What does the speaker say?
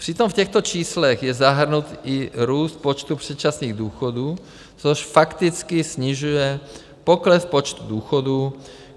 Přitom v těchto číslech je zahrnut i růst počtu předčasných důchodů, což fakticky snižuje pokles počtu důchodů.